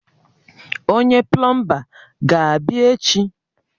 Onye plọọmba ga-abịa echi?